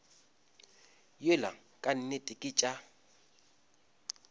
yola ka nnete ke tša